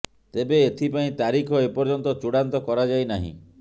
ତେବେ ଏଥି ପାଇଁ ତାରିଖ ଏ ପର୍ଯ୍ୟନ୍ତ ଚୂଡ଼ାନ୍ତ କରାଯାଇ ନାହିଁ